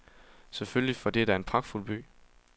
Selvfølgelig, for det er da en pragtfuld by.